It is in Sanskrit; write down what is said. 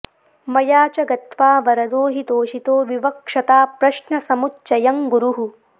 मया च गत्वा वरदो हि तोषितो विवक्षता प्रश्नसमुच्चयं गुरुः